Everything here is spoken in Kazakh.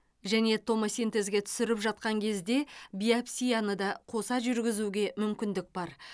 және томосинтезге түсіріп жатқан кезде биопсияны да қоса жүргізуге мүмкіндік бар